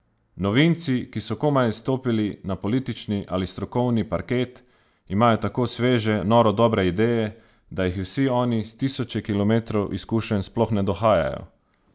Novinci, ki so komaj stopili na politični ali strokovni parket, imajo tako sveže, noro dobre ideje, da jih vsi oni s tisoče kilometrov izkušenj sploh ne dohajajo!